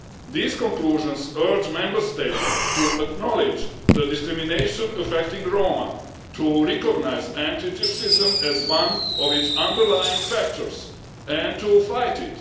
These conclusions urge Member States to acknowledge the discrimination affecting Roma, to recognise anti Gypsyism as one of its underlying factors, and to fight it.